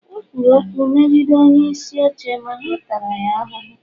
o kwuru okwu megide onyeisi oche ma ha taara ya ahụhụ